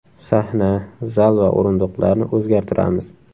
Sahna, zal va o‘rindiqlarni o‘zgartiramiz.